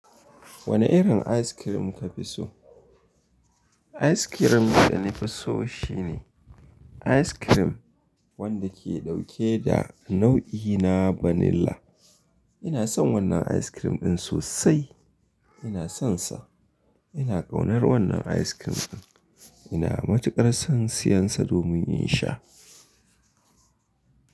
Wanne irin ice cream ka fi so? Ice cream da na fi so shine, ice cream wanda ke ɗauke da nau'i na vanilla. Ina son wannan ice cream ɗin sosai. Ina sonsa. Ina ƙaunar wannan ice cream ɗin. Ina matuƙar son siyansa domin in sha.